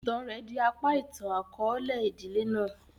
Ìtan rẹ di apa itan-akọọlẹ idile náà.